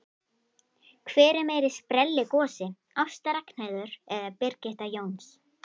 Hver er meiri sprelligosi, Ásta Ragnheiður eða Birgitta Jóns?